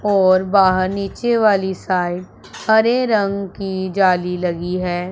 और बाहर नीचे वाली साइड हरे रंग की जाली लगी है।